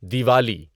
Diwali